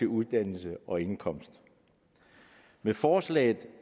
uddannelse og indkomst med forslaget